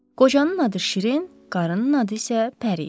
Qocanın adı Şirin, qarının adı isə Pəri idi.